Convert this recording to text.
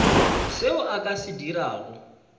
seo a ka se dirago